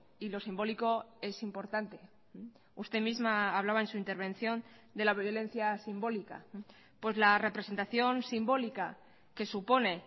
y lo simbólico es importante usted misma hablaba en su intervención de la violencia simbólica pues la representación simbólica que supone